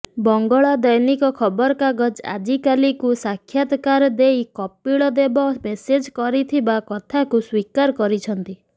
ବଙ୍ଗଳା ଦୈନିକ ଖବରକାଗଜ ଆଜିକାଲିକୁ ସାକ୍ଷାତକାର ଦେଇ କପିଳ ଦେବ ମେସେଜ କରିଥିବା କଥାକୁ ସ୍ବୀକାର କରିଛନ୍ତି